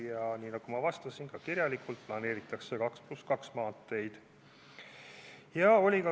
Ja nii nagu ma juba kirjalikult vastasin, planeeritakse 2 + 2 maanteid.